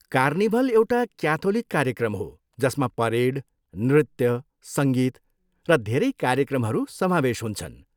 Carnival एउटा Catholic कार्यक्रम हो जसमा परेड, नृत्य, सङ्गीत र धेरै कार्यक्रमहरू समावेश हुन्छन्।